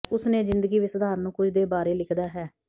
ਉਸ ਨੇ ਜ਼ਿੰਦਗੀ ਵਿਚ ਸਧਾਰਨ ਨੂੰ ਕੁਝ ਦੇ ਬਾਰੇ ਲਿਖਦਾ ਹੈ